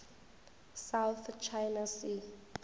south china sea